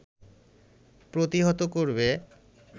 প্রতিহত করবে